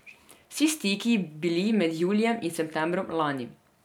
Vsi stiki bili med julijem in septembrom lani.